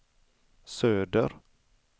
söder